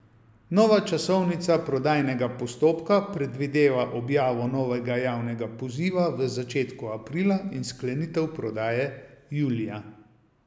Nova časovnica prodajnega postopka predvideva objavo novega javnega poziva v začetku aprila in sklenitev prodaje julija.